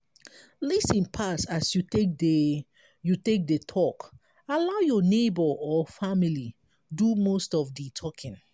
lis ten pass as you take dey you take dey talk allow your neigbour or family do most of di talking